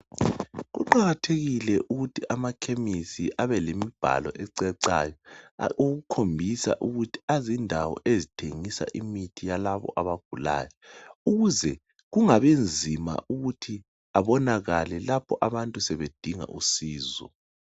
Kuqakethekile ukuthi amakhemisi abelemibhale ecacayo okukhombisa ukuthi ayindawo ezithengisa imithi yalabo abagulayo ukuze kungabi nzima ukuthi abonakale lapho abantu sebedinga usizo.